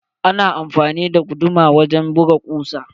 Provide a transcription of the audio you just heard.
Ana amfani da guduma wajen buga kusa.